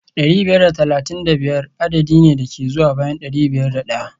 dari biyar da talatin da biyar adadi ne da ke zuwa bayan dari biyar da daya